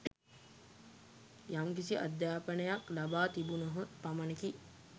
යම්කිසි අධ්‍යාපනයක් ලබා තිබුණහොත් පමණකි.